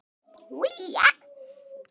Þín Arney.